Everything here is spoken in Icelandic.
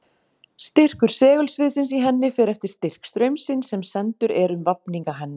Styrkur segulsviðsins í henni fer eftir styrk straumsins sem sendur er um vafninga hennar.